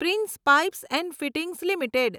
prince pipes and fittings limited